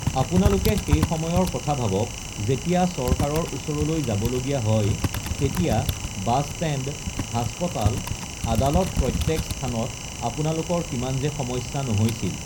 আপোনালোকে সেই সময়ৰ কথা ভাৱক যেতিয়া চৰকাৰ ওচৰলৈ যাবলগীয়া হ য় তেতিয়া, বাছষ্টেণ্ড, হাস্পতাল, আদালত প্ৰত্যেক স্থানত আপোনালোকৰ কিমান যে সমস্যা নহৈছিল।